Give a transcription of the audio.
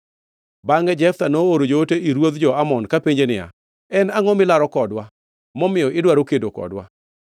Bangʼe Jeftha nooro joote ir ruodh jo-Amon kapenje niya, “En angʼo milaro kodwa, momiyo idwaro kedo kodwa?”